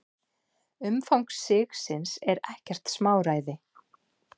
Umfang sigsins er ekkert smáræði.